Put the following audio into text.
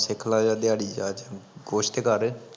ਸਿੱਖਲਾ ਜਾ ਦਿਹਾੜੀ ਜਾ ਚਲ, ਕੁਸ਼ ਤੇ ਕਰ